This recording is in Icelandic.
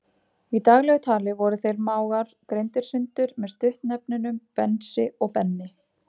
Í daglegu tali voru þeir mágar greindir sundur með stuttnefnunum Bensi og Benni.